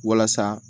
Walasa